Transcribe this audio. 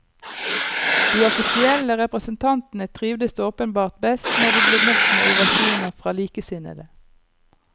De offisielle representantene trivdes åpenbart best når de ble møtt med ovasjoner fra likesinnede.